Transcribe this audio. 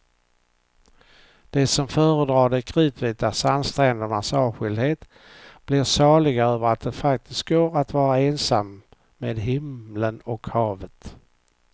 De som föredrar de kritvita sandsträndernas avskildhet blir saliga över att det faktiskt går att vara ensam med himlen och havet.